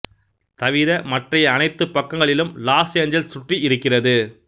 தவிர மற்றைய அனைத்துப் பக்கங்களிலும் லாஸ் ஏஞ்சலஸ் சுற்றி இருக்கிறது